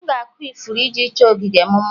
M ga-akụ ifuru iji chọọ ogige m mma